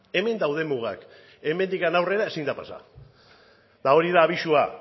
hemen daude mugak hemendik aurrera ezin da pasa hori da abisua